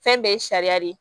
Fɛn bɛɛ ye sariya de ye